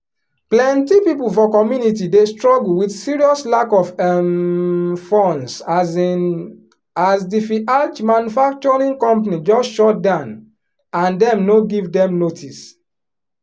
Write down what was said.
plenty people for community dey struggle with serious lack of um funds um as di viallge manufacturing company just shutdown and dem no give dem notice